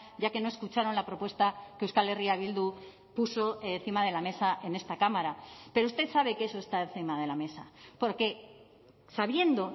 ya que no escucharon la propuesta que euskal herria bildu puso encima de la mesa en esta cámara pero usted sabe que eso está encima de la mesa porque sabiendo